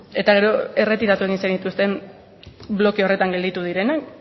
eta gero erretiratu egin zenituzten bloke horretan gelditu direnak